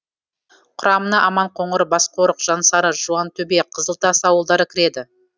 құрамына аманқоңыр басқорық жансары жуантөбе қызылтас ауылдары кіреді